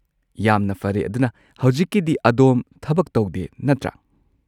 ꯌꯥꯝꯅ ꯐꯔꯦ꯫ ꯑꯗꯨꯅ, ꯍꯧꯖꯤꯛꯀꯤꯗꯤ ꯑꯗꯣꯝ ꯊꯕꯛ ꯇꯧꯗꯦ, ꯅꯠꯇ꯭ꯔꯥ?